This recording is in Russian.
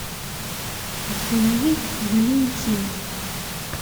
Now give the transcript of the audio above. установи валентина